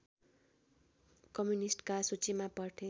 कम्युनिस्टका सूचीमा पर्थे